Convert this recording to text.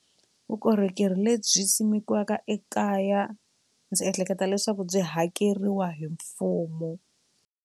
Vukorhokeri lebyi simekiweke ekaya byi ehleketa leswaku byi hakeriwa hi mfumo.